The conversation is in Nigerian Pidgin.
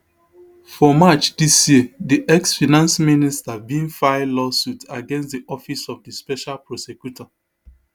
for march dis year di exfinance minister bin file law suit against di office of di special prosecutor